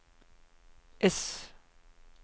ess